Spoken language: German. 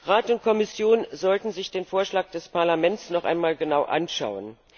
Rat und Kommission sollten sich den Vorschlag des Parlaments noch einmal genau anschauen.